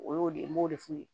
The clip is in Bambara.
O y'o de ye n b'o de f'u ye